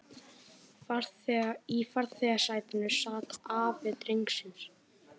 Í farþegasætinu sat afi drengsins